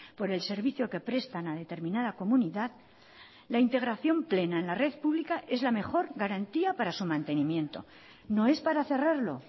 por el servicio que prestan a determinada comunidad la integración plena en la red pública es la mejor garantía para su mantenimiento no es para cerrarlo